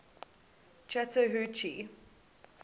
chattahoochee